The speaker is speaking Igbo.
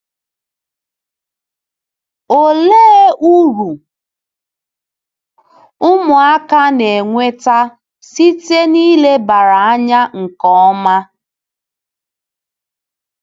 Olee uru ụmụaka na-enweta site n'ilebara anya nke ọma?